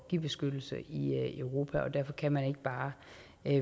give beskyttelse i europa og derfor kan man ikke bare